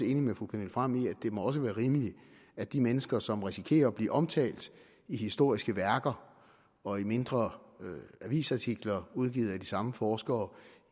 enig med fru pernille frahm i at det også må være rimeligt at de mennesker som risikerer at blive omtalt i historiske værker og i mindre avisartikler udgivet af de samme forskere